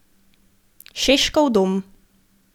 Šeškov dom.